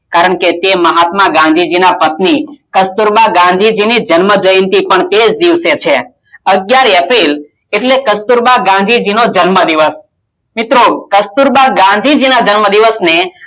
કારણ કે મહાત્મા ગાંધી ના પત્ની કસ્તુરબા ગાંધીજીની જન્મ જ્યંતી પણ તેજ દિવસે છે અગિયાર એપ્રિલ એટલે કસ્તુરબા ગાંધી જી નો જન્મ દિવસ મિત્રો કસ્તુરબા ગાંધીજીના જન્મ દિવસ ને આપણે